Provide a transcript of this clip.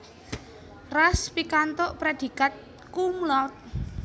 Ras pikantuk prédhikat cum laude